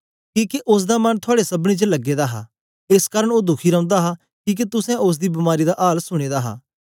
किके ओसदा मन थुआड़े सबनीं च लगे दा हा एस कारन ओ दुखी रौंदा हा किके तुसें ओसदी बमारी दा आल सुने दा हा